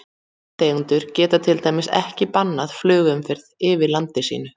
Landeigandi getur til dæmis ekki bannað flugumferð yfir landi sínu.